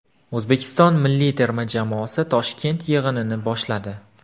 O‘zbekiston milliy terma jamoasi Toshkent yig‘inini boshladi .